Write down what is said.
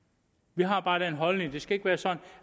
vi har bare den holdning at det ikke skal være sådan